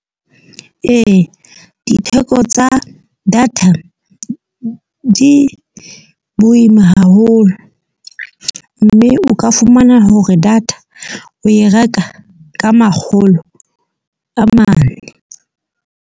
Ee, ditheko tsa data di boima haholo. Mme o ka fumana hore data o e reka ka makgolo a mane.